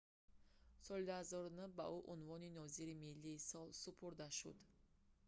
соли 2009 ба ӯ унвони нозири миллии сол супурда шуд